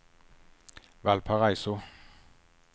Valparaiso